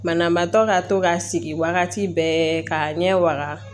Banabaatɔ ka to ka sigi wagati bɛɛ ka ɲɛ wa